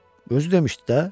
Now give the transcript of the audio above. Özü demişdi də.